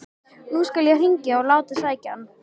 Nú skal ég hringja og láta sækja hann.